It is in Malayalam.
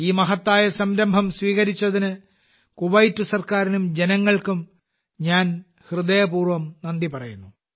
ഈ മഹത്തായ സംരംഭം സ്വീകരിച്ചതിന് കുവൈറ്റ് സർക്കാരിനും ജനങ്ങൾക്കും ഞാൻ ഹൃദയപൂർവ്വം നന്ദി പറയുന്നു